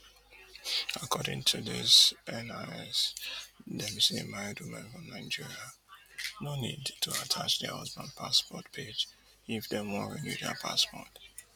according to dis NIS dem say married women from nigeria no need to attach dia husband passport page if dem want renew dia passport